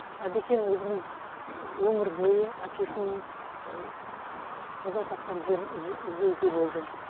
әбекең өзінің өмір бойы әкесінің қаза тапқан жерін іздеуде болды